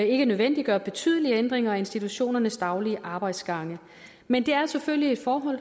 ikke nødvendiggør betydelige ændringer af institutionernes daglige arbejdsgange men det er selvfølgelig et forhold